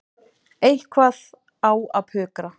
Eitthvað á að pukra.